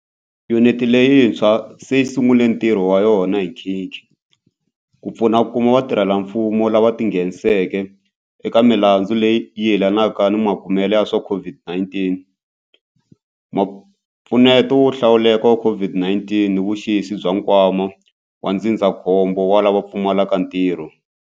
Yuniti leyitshwa se yi sungule ntirho wa yona hi nkhikhi, ku pfuna ku kuma vatirhelamfumo lava ti ngheniseke eka milandzu leyi yelanaka ni makumele ya swa COVID-19, mpfuneto wo hlawuleka wa COVID-19 ni vuxisi bya Nkwama wa Ndzindzakhombo wa lava Pfumalaka Ntirho.